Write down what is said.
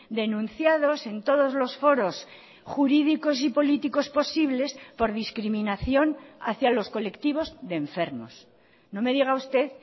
denunciados en todos los foros jurídicos y políticos posibles por discriminación hacia los colectivos de enfermos no me diga usted